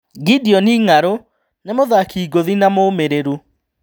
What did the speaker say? Gideon Ng'arũ ni mũthaki ngũthi na mũmĩrĩrũ.